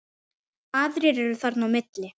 Aðrir eru þarna á milli.